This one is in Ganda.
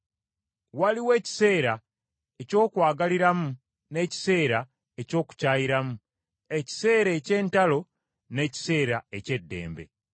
waliwo ekiseera eky’okwagaliramu n’ekiseera eky’okukyayiramu; ekiseera eky’entalo n’ekiseera eky’eddembe.